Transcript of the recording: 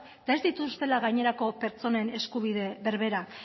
eta ez dituztela gainerako pertsonen eskubide berberak